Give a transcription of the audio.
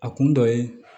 A kun dɔ ye